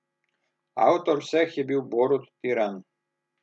Avtor vseh je bil Borut Tiran.